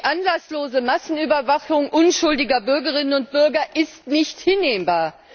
Die anlasslose Massenüberwachung unschuldiger Bürgerinnen und Bürger ist nicht hinnehmbar.